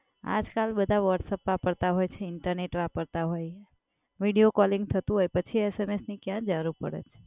આજ કલ બધા Whatsapp વાપરતા હોય છે ઇન્ટરનેટ વાપરતા હોય વિડિયો કોલિંગ થતુ હોય તો પછી SMS ની ક્યા જરુર પડે છે?